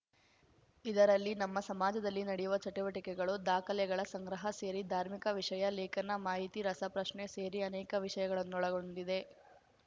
ಇದರಲ್ಲಿ ನಮ್ಮ ಸಮಾಜದಲ್ಲಿ ನಡೆಯುವ ಚಟುವಟಿಕೆಗಳು ದಾಖಲೆಗಳ ಸಂಗ್ರಹ ಸೇರಿ ಧಾರ್ಮಿಕ ವಿಷಯ ಲೇಖನ ಮಾಹಿತಿ ರಸಪ್ರಶ್ನೆ ಸೇರಿ ಅನೇಕ ವಿಷಯಗಳನ್ನೊಳಗೊಂಡಿದೆ